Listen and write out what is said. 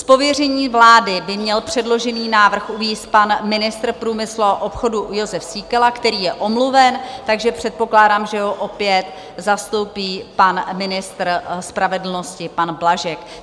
Z pověření vlády by měl předložený návrh uvést pan ministr průmyslu a obchodu Jozef Síkela, který je omluven, takže předpokládám, že ho opět zastoupí pan ministr spravedlnosti pan Blažek.